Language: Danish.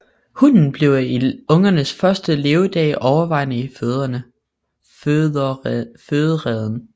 Hunnen bliver i ungernes første levedage overvejende i fødereden